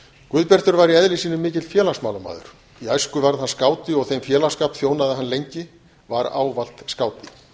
guðbjartur var í eðli sínu mikill félagsmálamaður í æsku varð hann skáti og þeim félagsskap þjónaði hann lengi var ávallt skáti